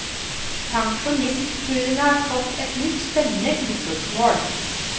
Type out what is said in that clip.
Pensjonistturene har fått et nytt spennende utfluktsmål.